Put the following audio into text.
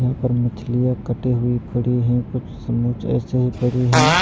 यहाँ पर मछलियां कटी हुई पड़ी हैं कुछ समूच ऐसे ही पड़ी हैं।